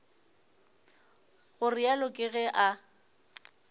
go realo ke ge a